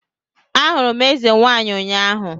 Ahụrụ m eze nwaanyị ụnyahụ